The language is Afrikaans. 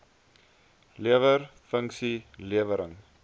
lewer funksie lewering